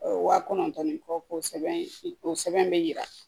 Wa kɔnɔntɔn ni kɔ ko sɛbɛn o sɛbɛn bɛ yira